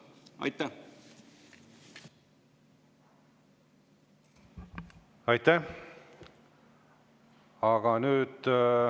Aitäh!